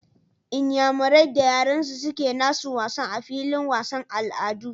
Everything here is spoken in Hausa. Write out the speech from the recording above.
Inyamurai da yaransu suke nasu wasan a filin wasan al'adu